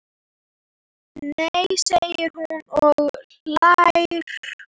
Nei segir hún og hlær.